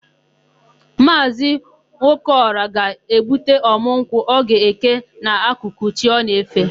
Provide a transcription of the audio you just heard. Maazị Nwokeọra ga-egbuta ọ̀mụ́ nkwụ ọ ga-eke n'akụkụ chi o na-efe.